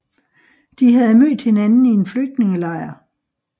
De havde mødt hinanden i en flygtningelejr